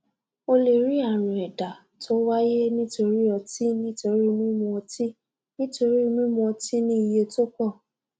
o lè rí àrùn ẹdá tó wáyé nítorí ọtí nítorí mímu ọtí nítorí mímu ọtí ní iye tó pọ